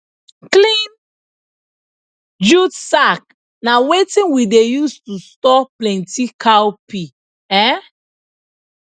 clean jute sack na wetin we dey use to store plenty cowpea um